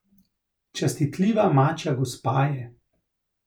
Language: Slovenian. Častitljiva mačja gospa je.